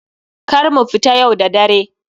Kar mu fita yau da dare.